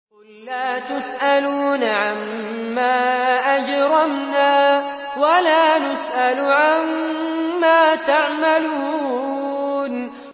قُل لَّا تُسْأَلُونَ عَمَّا أَجْرَمْنَا وَلَا نُسْأَلُ عَمَّا تَعْمَلُونَ